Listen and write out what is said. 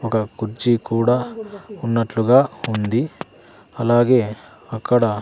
ఒక కుర్చీ కూడా ఉన్నట్లుగా ఉంది అలాగే అక్కడ--